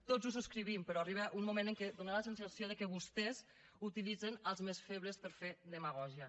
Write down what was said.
tots ho subscrivim però arriba un moment en què dóna la sensació que vostès utilitzen els més febles per fer demagògia